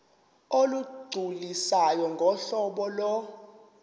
olugculisayo ngohlobo lo